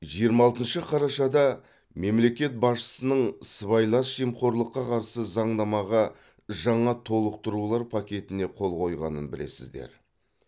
жиырма алтыншы қарашада мемлекет басшысының сыбайлас жемқорлыққа қарсы заңнамаға жаңа толықтырулар пакетіне қол қойғанын білесіздер